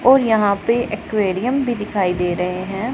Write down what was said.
और यहां पे एक्वेरियम भी दिखाई दे रहे हैं।